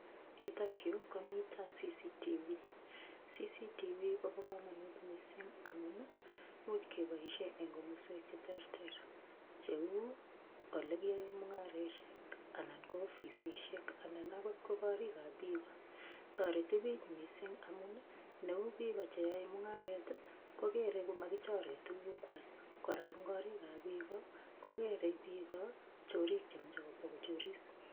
Yutok yu koma CCTV, CCTV kobo kamanut mising amunii much keboisien eng komoswek che terter cheu olikiyaoen mungarosiek anan ko ofisisiek, anan agot ko korikab biiko. Toreti biich mising amun ii neu biiko che yoe mungaret, kogere ko magichoren tugukwai. Kora eng korikab biiko, kogere biiko chorik chekabo kochoris.